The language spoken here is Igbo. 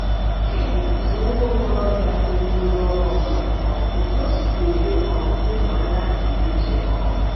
Chidi bụzi nwa okorobịa toruworo ogo mmadụ um, otú o sikwa ele um ndụ anya dịrị iche um.